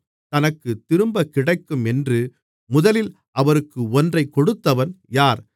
தனக்குத் திரும்பக்கிடைக்கும் என்று முதலில் அவருக்கு ஒன்றைக் கொடுத்தவன் யார்